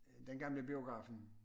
Den gamle biografen